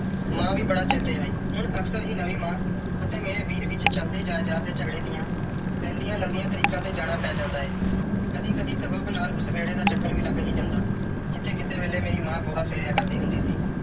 ਮਾਂ ਵੀ ਬੜਾ ਚੇਤੇ ਆਈ। ਹੁਣ ਅਕਸਰ ਹੀ ਮੇਰੀ ਨਵੀਂ ਮਾਂ ਅਤੇ ਮੇਰੇ ਵੀਰ ਵਿੱਚ ਚਲਦੇ ਜਾਇਦਾਦ ਦੇ ਝਗੜੇ ਦੀਆਂ ਪੈਂਦੀਆਂ ਲੰਬੀਆਂ ਤਰੀਕਾਂ ਤੇ ਜਾਣਾ ਪੈ ਜਾਂਦਾ ਏ। ਕਦੀ-ਕਦੀ ਸਗੋਂ ਫਿਲਹਾਲ ਉਸ ਵਿਹੜੇ ਦਾ ਚੱਕਰ ਵੀ ਲੱਗ ਹੀ ਜਾਂਦਾ ਜਿੱਥੇ ਕਿਸੇ ਵੇਲੇ ਮੇਰੀ ਮਾਂ ਗੋਹਾ ਫੇਰਿਆ ਕਰਦੀ ਹੁੰਦੀ ਸੀ।